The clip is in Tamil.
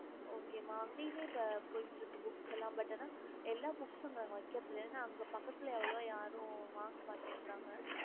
okey ம அங்கயுமே போட்டுட்டு இருக்கு book லாஎல்லா நாங்க அங்க வைக்கிறது இல்ல அங்க வாங்க மாட்டு கிறங்க